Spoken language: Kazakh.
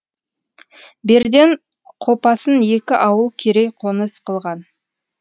берден қопасын екі ауыл керей қоныс қылған